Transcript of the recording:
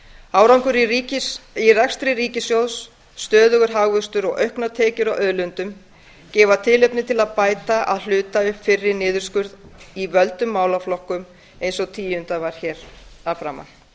árangur í rekstri ríkissjóðs stöðugur hagvöxtur og auknar tekjur af auðlindum gefa tilefni til að bæta að hluta upp fyrri niðurskurð í völdum málaflokkum eins og tíundað var hér að framan